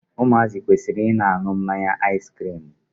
Ụmụazị kwere Ị dị na-aṅụ mmanya aiskirimu.